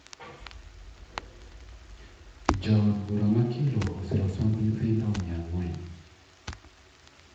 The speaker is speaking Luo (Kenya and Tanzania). Jaod bura ma kilo osiro somb nyithindo miya ang`uen